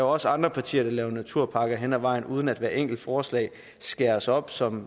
også andre partier der laver naturpakker hen ad vejen uden at hvert enkelt forslag skæres op som